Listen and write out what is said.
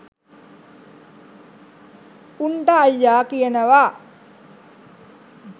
උන්ට අයියා කියනවා